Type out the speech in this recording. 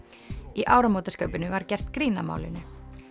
í áramótaskaupinu var gert grín að málinu